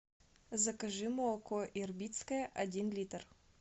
закажи молоко ирбитское один литр